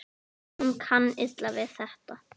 Hún kann illa við þetta.